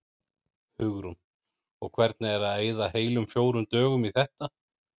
Hugrún: Og hvernig er það að eyða heilum fjórum dögum í þetta?